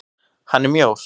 Hann er mjór.